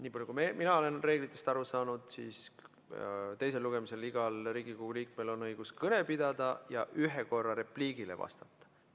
Nii palju kui mina olen reeglitest aru saanud, on teisel lugemisel igal Riigikogu liikmel õigus kõne pidada ja ühe korra repliigile vastata.